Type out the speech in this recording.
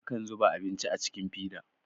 akan zuba abinci a cikin fida